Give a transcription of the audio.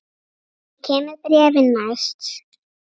Ég kem með bréfin næst.